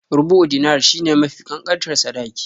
Rubu'u Dinar shi ne mafi ƙanƙantar sadaki.